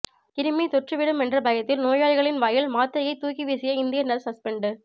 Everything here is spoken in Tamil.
கிருமி தொற்றி விடும் என்ற பயத்தில் நோயாளிகளின் வாயில் மாத்திரையை தூக்கி வீசிய இந்திய நர்சு சஸ்பெண்டு